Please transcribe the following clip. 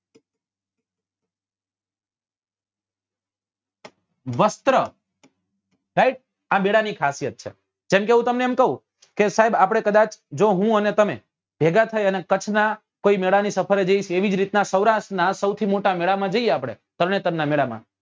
વસ્ત્ર guys આ મેળા ની ખાસિયત છે ક્જેમ કે હું તમને એમ કઉં કે સાહેબ આપડે કદાચ જો હું અને તમે જો